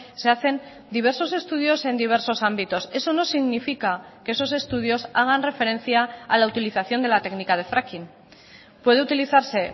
se hacen diversos estudios en diversos ámbitos eso no significa que esos estudios hagan referencia a la utilización de la técnica de fracking puede utilizarse